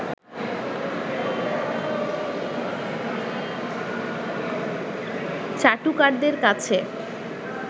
চাটুকারদের কাছে